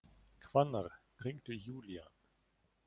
Hvannar, hringdu í Júlían.